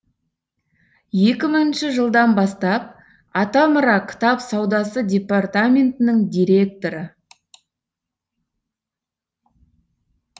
екі мыңыншы жылдан бастап атамұра кітап саудасы департаментінің директоры